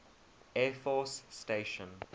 air force station